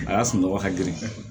A y'a sunɔgɔ hakɛ